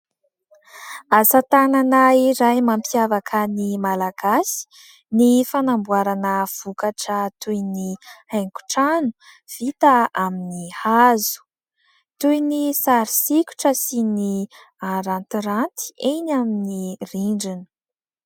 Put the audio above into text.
Asa tanana iray mampiavaka ny Malagasy ny fanamboarana vokatra toy ny haingon-trano vita amin'ny hazo. Toy ny sary sikotra sy ny arantiranty eny amin'ny rindrina.